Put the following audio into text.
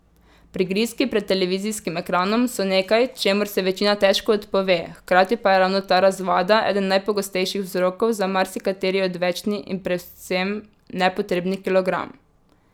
Prigrizki pred televizijskim ekranom so nekaj, čemur se večina težko odpove, hkrati pa je ravno ta razvada eden najpogostejših vzrokov za marsikateri odvečni in predvsem nepotrebni kilogram.